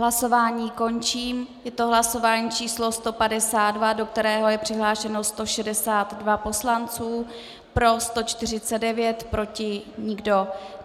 Hlasování končím, je to hlasování číslo 152, do kterého je přihlášeno 162 poslanců, pro 149, proti nikdo.